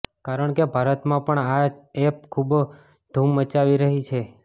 કારણ કે ભારતમાં પણ આ એપ ખુબજ ધૂમ મચાવી રહ્યું છે